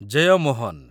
Jeyamohan